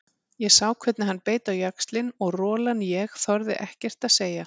Ég sá hvernig hann beit á jaxlinn og rolan ég þorði ekkert að segja.